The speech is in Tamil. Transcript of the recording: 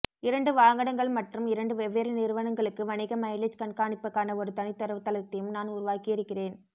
இரண்டு வாகனங்கள் மற்றும் இரண்டு வெவ்வேறு நிறுவனங்களுக்கு வணிக மைலேஜ் கண்காணிப்புக்கான ஒரு தனி தரவுத்தளத்தையும் நான் உருவாக்கியிருக்கிறேன்